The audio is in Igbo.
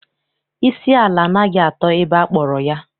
Isi ala anaghị atọ ebe akpọrọ ya.